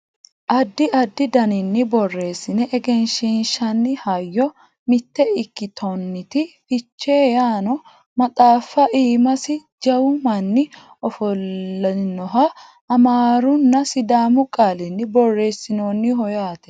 addi addi daninni borreesine egensiinsanni hayyo mitte ikkitinoti fichee yaanno maxaafa iimasi jawu manni ofollinohanna amaarunna sidaamu qaalini borreessinoonniho yaate